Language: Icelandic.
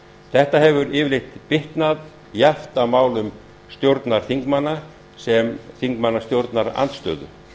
þetta hefur yfirleitt bitnað jafnt á málum stjórnarþingmanna sem og þingmanna stjórnarandstöðu